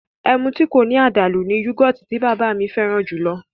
Ẹmu tí kò ní àdàlú ni yọ́gọ̀tì tí bàbá mi fẹ́ràn jùlọ